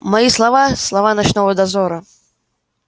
мои слова слова ночного дозора